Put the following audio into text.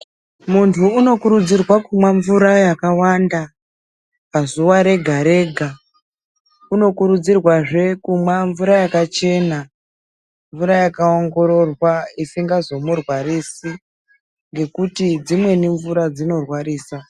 Munthu unokurudzirwa kumwa mvura yakawanda pazuwa rega rega unokurudzirwazve kumwa mvura yakachena mvura yakaongororwa isingazomurwarisi ngekuti dzimweni mvura dzinorwarisa.